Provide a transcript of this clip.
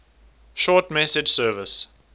short message service